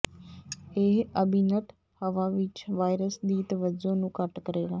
ਇਹ ਅੰਬੀਨਟ ਹਵਾ ਵਿੱਚ ਵਾਇਰਸ ਦੀ ਤਵੱਜੋ ਨੂੰ ਘੱਟ ਕਰੇਗਾ